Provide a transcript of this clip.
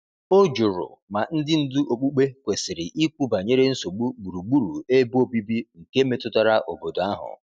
O jụrụ ma ndị ndu okpukpe kwesiri ikwu banyere nsogbu gburugburu ebe obibi nke metụtara obodo ahụ.